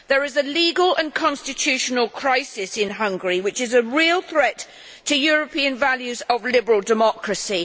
There is a legal and constitutional crisis in Hungary which is a real threat to European values of liberal democracy.